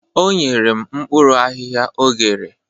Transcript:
O nyere m mkpuru ahihia o ghere